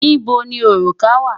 Níbo ni òrùka wà?